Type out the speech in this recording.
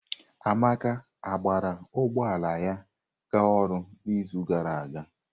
Amaka gbara ụgbọ ala ya ga ọrụ n'izu gara aga?